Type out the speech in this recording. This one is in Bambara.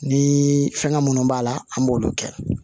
Ni fɛngɛ minnu b'a la an b'olu kɛ